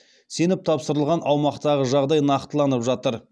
сеніп тапсырылған аумақтағы жағдай нақтыланып жатыр